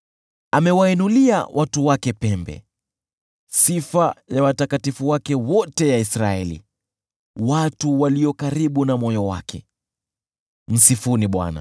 Amewainulia watu wake pembe, sifa ya watakatifu wake wote, ya Israeli, watu walio karibu na moyo wake. Msifuni Bwana .